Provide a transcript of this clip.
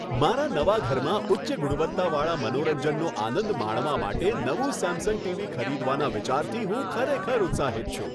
મારા નવા ઘરમાં ઉચ્ચ ગુણવત્તાવાળા મનોરંજનનો આનંદ માણવા માટે નવું સેમસંગ ટીવી ખરીદવાના વિચારથી હું ખરેખર ઉત્સાહિત છું.